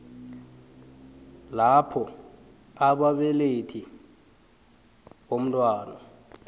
lapho ababelethi bomntwana